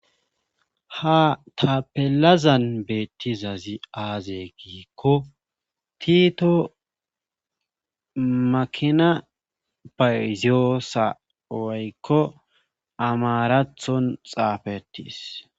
ha tapelazan beettizazi aaze giikko tito makina bayziyoosa woykko amarathon xaafetis